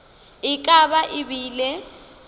e ka ba e bile